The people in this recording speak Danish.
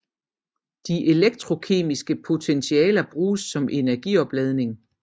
De elektrokemiske potentialer bruges som energioplagring